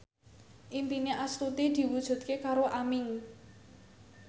impine Astuti diwujudke karo Aming